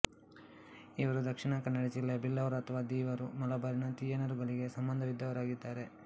ಇವರು ದಕ್ಶಿನ ಕನ್ನಡ ಜಿಲ್ಲೆಯ ಬಿಲ್ಲವರು ಅಥವಾ ದೀವರು ಮಲಬಾರಿನ ತಿಯಾನರುಗಳಿಗೆ ಸಂಬಂಧವಿದ್ದವರಾಗಿದ್ದಾರೆ